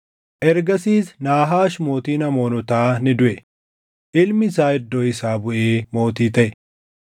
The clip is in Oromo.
Ergasiis Naahaash mootiin Amoonotaa ni duʼe; ilmi isaa iddoo isaa buʼee mootii taʼe.